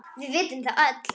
Við vitum það öll.